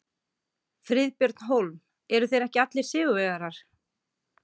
Friðbjörn Hólm: Eru þeir ekki allir sigurvegarar?